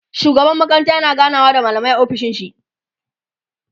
shugaban makaranta yana ganawa da mallamai a ofishin shi